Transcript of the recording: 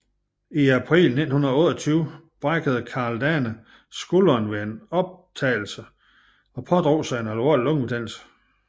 I april 1928 brækkede Karl Dane skulderen ved en optagelse og pådrog sig en alvorlig lungebetændelse